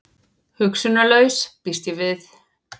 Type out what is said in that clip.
Hugsunarlaus, býst ég við.